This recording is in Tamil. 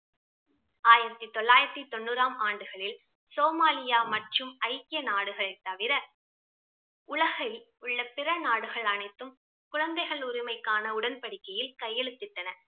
ஆயிரத்தி தொள்ளாயிரத்தி தொன்னூறாம் ஆண்டுகளில் சோமாலியா மற்றும் ஐக்கிய நாடுகள் தவிர உலகில் உள்ள பிற நாடுகள் அனைத்தும் குழந்தைகள் உரிமைக்கான உடன்படிக்கையில் கையெழுத்திட்டன